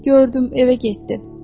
Gördüm evə getdin.